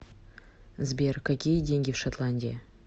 сбер какие деньги в шотландии